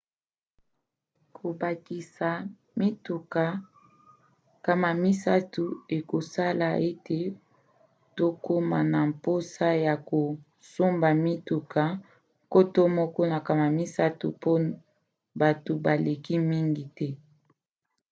kobakisa mituka 300 ekosala ete tokoma na mposa ya kosomba mituka 1 300 mpo bato baleka mingi te